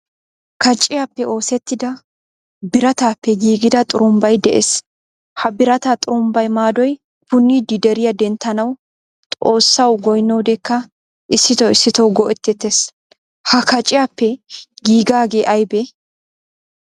Kaaciyappe oosettida, biratappe giigida xurumbbay de'ees. Ha birata xurumbbawu maadoy puunidi deriya denttanawu xoossawu goyniyodekka issito issito go'etettees. Ha kaciyaappe gigage aybbe?